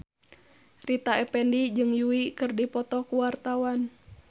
Rita Effendy jeung Yui keur dipoto ku wartawan